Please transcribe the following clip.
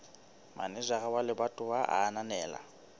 manejara wa lebatowa a ananela